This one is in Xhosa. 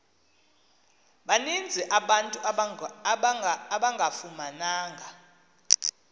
baninzi abantu abangafumananga